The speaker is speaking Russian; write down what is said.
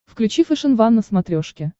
включи фэшен ван на смотрешке